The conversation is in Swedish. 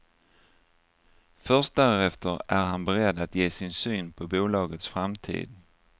Först därefter är han beredd att ge sin syn på bolagets framtid.